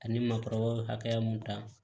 Ani makɔrɔ hakɛya mun ta